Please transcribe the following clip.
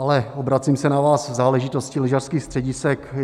Ale obracím se na vás v záležitosti lyžařských středisek.